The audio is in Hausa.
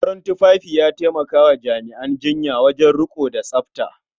Farin tufafi ya taimaka wa jami'an jinya wajen riƙo da tsafta.